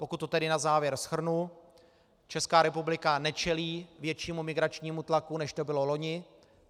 Pokud to tedy na závěr shrnu, Česká republika nečelí většímu migračnímu tlaku, než tomu bylo loni.